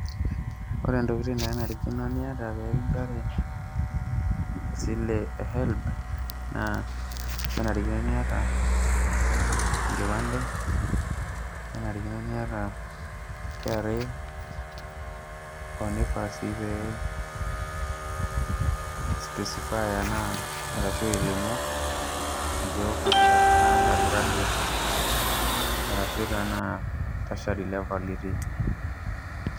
Ore ntokitin nanarikino nitaa pee kinchori esile e HELB naa kenarikino niata enkipande kenarikino niata KRA hoo naifaa sii pee ilimu enaa ke undergraduate arashu tertiary itii.